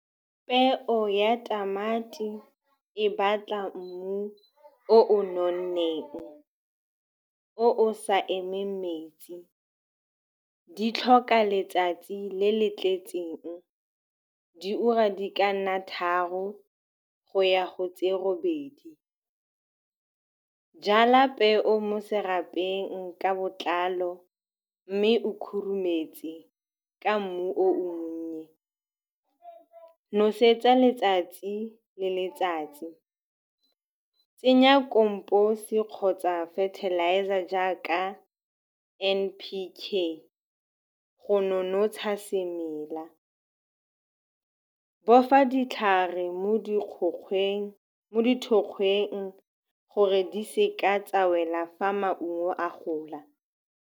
Peo ya tamati e batla mmu o o nonneng, o o sa emeng metsi. Di tlhoka letsatsi le le tletseng, diura di ka nna tharo go ya go tse robedi. Jala peo mo serapeng ka botlalo, mme o khurumetse ka mmu o monnye. Nosetsa letsatsi le letsatsi, tsenya compost-e kgotsa fertilizer jaaka N_P_K go nonotsha semela. Bofa ditlhare mo kgokgweng, mo dithokgweng gore di seka tsa wela fa maungo a gola.